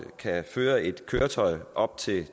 kan føre et køretøj på op til